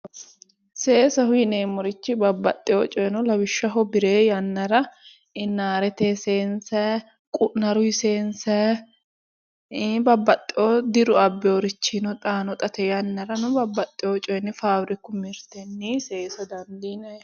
Seesaho yinneemmorichi babbaxeyo coyi no lawishshaho birre yannara ,inarete seeyinsanni, qu'narete seeyinsanni ii'i babbaxeyo diru abbinorichini xaano xa tene yannarano babbaxeyo faabbiriku abbinorinni seensanni.